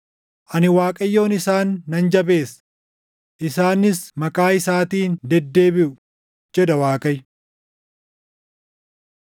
Ani Waaqayyoon isaan nan jabeessa; isaanis maqaa isaatiin deddeebiʼu” jedha Waaqayyo.